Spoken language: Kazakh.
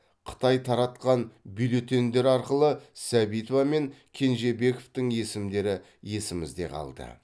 қытай таратқан бюллетендер арқылы сәбитова мен кенжебековтың есімдері есімізде қалды